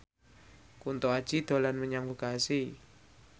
Kunto Aji dolan menyang Bekasi